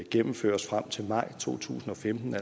gennemføres frem til maj to tusind og femten